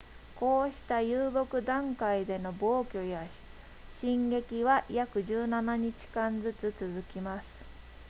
こうした遊牧段階での暴挙や進撃は約17日間ずつ続きます